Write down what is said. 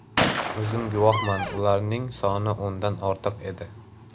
O‘zim guvohman ularning soni o‘ndan ortiq edi.